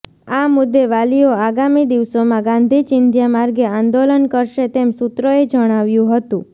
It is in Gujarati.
આ મુદ્દે વાલીઓ આગામી દિવસોમાં ગાંધી ચિંધ્યા માર્ગે આંદોલન કરશે તેમ સૂત્રોએ જણાવ્યું હતું